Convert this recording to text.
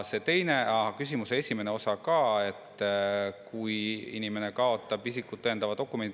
Küsimuse esimene osa oli selle kohta, kui inimene kaotab isikut tõendava dokumendi.